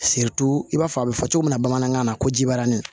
i b'a fɔ a bɛ fɔ cogo min na bamanankan na ko jibarani